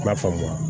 I b'a faamuya